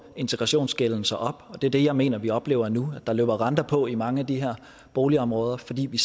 integrationsgælden sig op og det er det jeg mener vi oplever nu at der løber renter på i mange af de her boligområder fordi vi